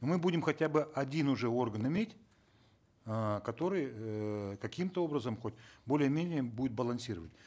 мы будем хотя бы один уже орган иметь э который эээ каким то образом хоть более менее будет балансировать